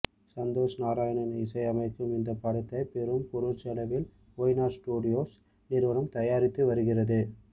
சந்தோஷ் நாராயணன் இசையமைக்கும் இந்த படத்தை பெரும் பொருட்செலவில் ஒய்நாட் ஸ்டுடியோஸ் நிறுவனம் தயாரித்து வருகிறது